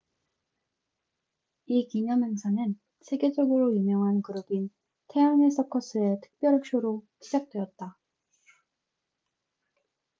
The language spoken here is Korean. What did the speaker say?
이 기념행사는 세계적으로 유명한 그룹인 태양의 서커스cirque du soleil의 특별 쇼로 시작되었다